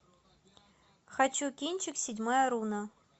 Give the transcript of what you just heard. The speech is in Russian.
хочу кинчик седьмая руна